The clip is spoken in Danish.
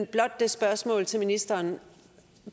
blot et spørgsmål til ministeren